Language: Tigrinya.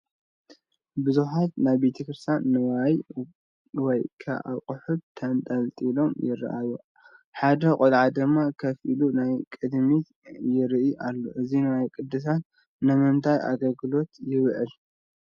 ብዙሓት ናይ ቤተ ክርስትያን ንዋያት ወይ ከዓ ኣቑሑት ተንጠልጢሎም ይራኣዩ፡፡ ሓደ ቆልዓ ድማ ከፍ ኢሉ ናብ ቅድሚት ይሪኢ ኣሎ፡፡ እዚ ንዋየ ቅድሳት ንምንታይ ኣገልግሎት ይውዕል፡፡